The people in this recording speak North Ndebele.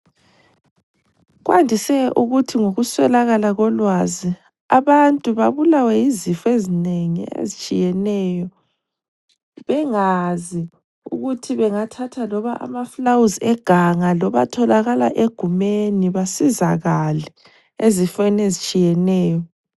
Kwandise ukuthi ngokuswelakala kolwazi abantu babulawe yizifo ezinengi ezitshiyeneyo bengazi ukuthi bengathatha loba amafulawuzi eganga loba atholakala egumeni basizakale ezifeni ezitshiyeneyo.